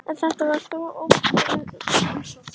En þetta var þó opinber heimsókn.